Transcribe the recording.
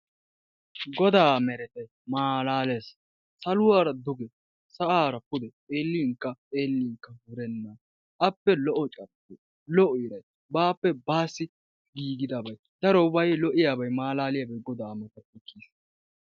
Godaa meretay malaales! Saluwaara duge sa'aara pude xeellinkka xeellinkka wurenna, appe lo"o carkkoy, lo"o iray bappe baassi giigidabay darobay lo"iyaabay malaaliyaaba godaa matappe kiyees.